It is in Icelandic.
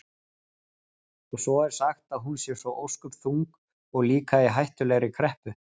Og svo er sagt að hún sé svo ósköp þung og líka í hættulegri kreppu.